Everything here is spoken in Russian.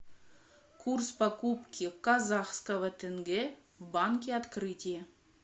курс покупки казахского тенге в банке открытие